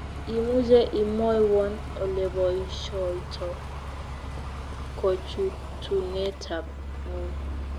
Imuche imwowon oleboishoito kochuutunetab ng'wony